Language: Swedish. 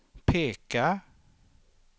peka